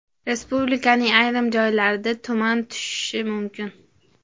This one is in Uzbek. Respublikaning ayrim joylariga tuman tushishi mumkin.